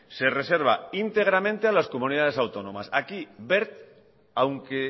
se reserva íntegramente a las comunidades autónomas aquí wert aunque